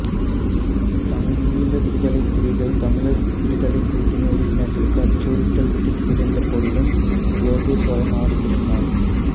தமிழீழ விடுதலைப் புலிகள் தமிழர் விடுதலைக் கூட்டணி உறுப்பினர்களுக்கு அச்சுறுத்தல் விடுத்திருந்த போதிலுய்ம் யோகேஸ்வரன் நாடு திரும்பினார்